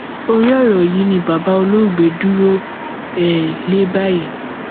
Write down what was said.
orí ọrọ yìí ni bàbá olóògbé dúró um lé báyìí